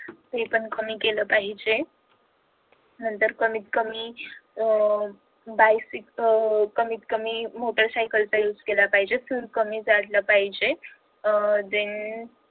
हे पण कमी केलं पाहिजे नंतर कमीत कमी अह अह कमीत कमी मोटार सायकल चा use केला fuel कमी पाहिजे अह than